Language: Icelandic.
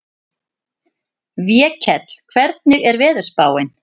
Vékell, hvernig er veðurspáin?